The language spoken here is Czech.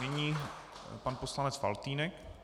Nyní pan poslanec Faltýnek.